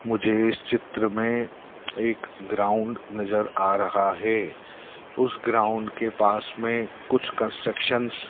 मुझे इस चित्र में एक ग्राउंड नजर आ रहा है उस ग्राउंड के पास में कुछ कुछ कंस्ट्रक्शन --